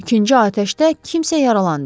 İkinci atəşdə kimsə yaralandı.